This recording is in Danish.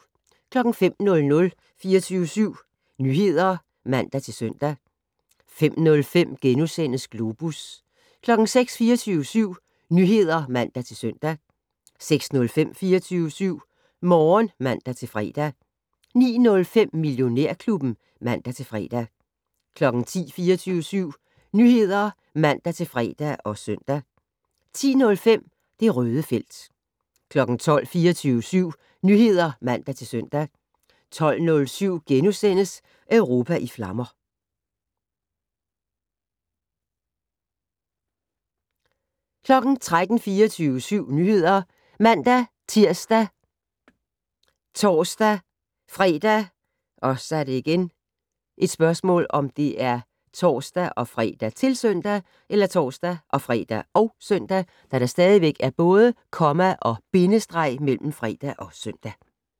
05:00: 24syv Nyheder (man-søn) 05:05: Globus * 06:00: 24syv Nyheder (man-søn) 06:05: 24syv Morgen (man-fre) 09:05: Millionærklubben (man-fre) 10:00: 24syv Nyheder (man-fre og søn) 10:05: Det Røde felt 12:00: 24syv Nyheder (man-søn) 12:07: Europa i flammer * 13:00: 24syv Nyheder ( man-tir, tor-fre, -søn)